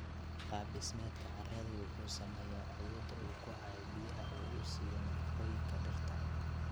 Qaab dhismeedka carradu wuxuu saameeyaa awooda uu ku hayo biyaha oo uu siiyo nafaqooyinka dhirta.